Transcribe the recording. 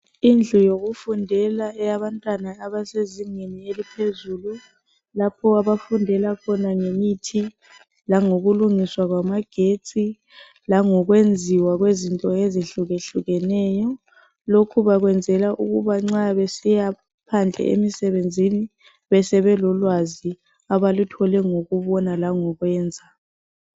Indlu yokufundela eyabantwana abasezingeni eliphezulu lapho abafundela khona ngemithi langokulungiswa kwamagetsi langokwenziwa kwezinto ezihlukehlukeneyo. Lokhu bakwenzela ukuba nxa besiyaphandle emisebenzini beselolwazi abaluthole. ngokubona langokwenza